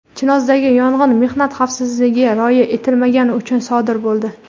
Chinozdagi yong‘in mehnat xavfsizligiga rioya etilmagani uchun sodir bo‘ldi.